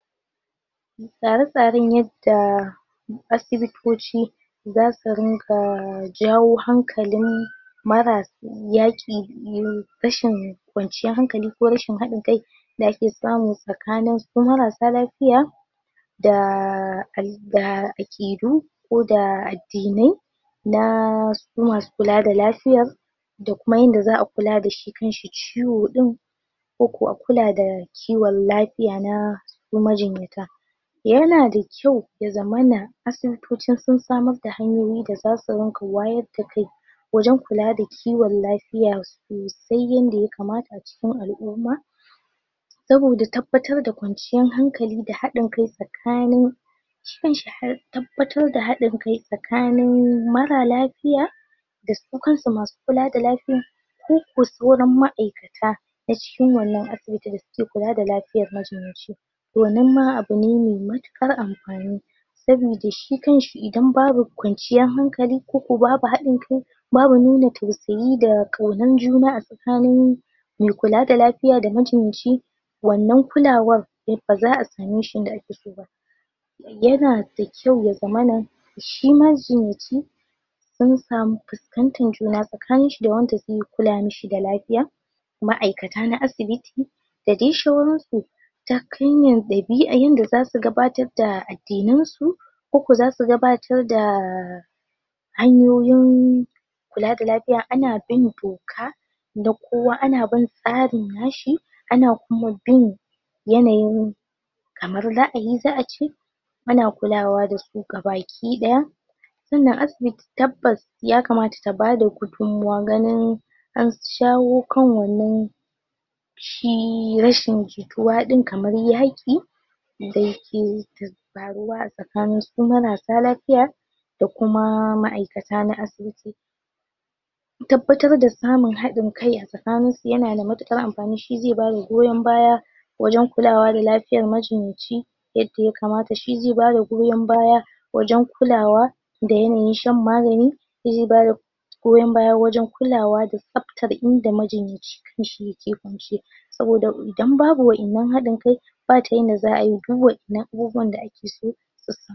tsare tsaren yadda asibitoci zasu ringa jawo hankali maras yaki rashin kwanciyar hankali ko rasshin hadin kai dake samun sakanin ko marasa lafiya da da akidu ko da addinai naa su masu kulada lafiya dakuma yanda za'a kuladashi shi kanshi ciwo din ko kuwa kulada ciwon kiwon lafiya na majinyata yana da kyau yazamana asibitoci sun samarda hanyoyi dazasu ringa wayarda kai wajan kulada kiwon lafiyansu sosai yanda yakamata cikin al'umma saboda tabbatar da kwanciyar hankali da hadin kai sakani tabbatar da hadin kai sakanin mara lafiya dasu kansu masu kulada lafiyan koko sauran ma'aikata na cikin wannan asibiti masu kulada majinyaci wannan ma abune mai matukar amfani sabida shi kanshi idan babu kwanciyan hankali koko babu haɗin kai babu nuna tausayi da kaunar juna asakanin me kulada lafiya da majinyaci wannan kulawan de ba za'a sameshi yandaa akeso ba yanada kyau ya zamana shi majinyaci sun samu kusantar juna sakaninshi da wanda ze kula mishi da lafiya ma'aikata na asibiti dadai shauransu ta hanyar dabi'a yanda zasu gabatarda addinansu koko zasu gabatar da hanyoyin kulada lafiya ana bin doka dakowa ana bin tsarin na shi ana kuma bin yanayin kamar za'ayi za'ace ana kulawa dasu gabaki daya suna asibiti tabbas ya kamata ta bada kudin maganin anshawo kan wannan shi rashin jituwa din kamar yaƙi dake ta faruwa asakaninsu ko marasa lafiya da kuma ma'aikata na asibiti tabbatarda samun hadin kai asakaninsu yanada matukar amfani shi ze bada goyan baya wajan kulawa da lafiyar majinyaci yadda ya kamata shi ze bada goyan baya wajan kulawa da yanayin shan magani shize bada goyan baya wajan kulawada tsaaftar inda majinyaci kanshi yake kunshe saboda idan babu waiyannan hadin kai bata yanda za'ayi duk waiyannan abubuwan da akeso su samu